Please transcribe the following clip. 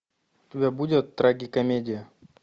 у тебя будет трагикомедия